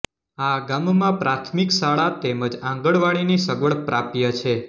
આ ગામમાં પ્રાથમિક શાળા તેમ જ આંગણવાડીની સગવડ પ્રાપ્ય છે